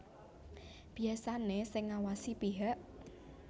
Biasané sing ngawasi pihak